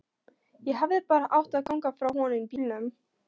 Ég hefði bara átt að ganga frá honum í bílnum.